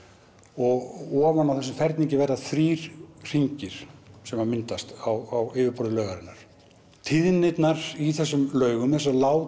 og ofan á þessum ferningi verða þrír hringir sem myndast á yfirborðinu tíðnirnar í þessum laugum þessar